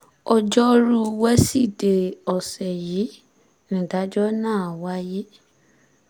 ọjọ́rùú wíṣídẹ̀ẹ́ ọ̀sẹ̀ yìí nìdájọ́ náà wáyé